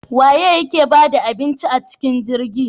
Waye yake bada abincin acikin jirgin?